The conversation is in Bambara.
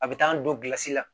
A bɛ taa an don kilasi la